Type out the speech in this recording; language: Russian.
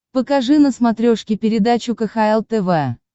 покажи на смотрешке передачу кхл тв